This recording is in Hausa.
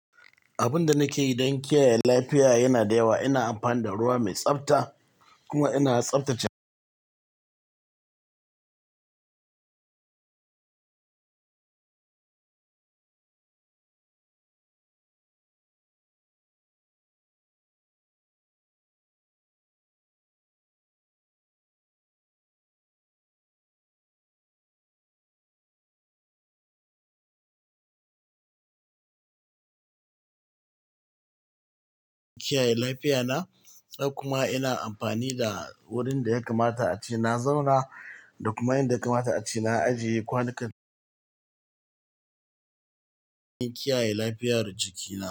Abun da nake yi don kiyaye lafiya yana da yawa. Ina amfani da ruwa mai tsabta kuma ina tsabta jiki. Kiyaye lafiya na. Kuma ina amfani da wurin da ya kamata a ci na zauna da kuma inda ya kamata a ci na ajiye kwanukan don kiyaye lafiyar jikina.